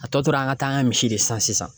A tɔ tora an ka taa an ka misi de san sisan .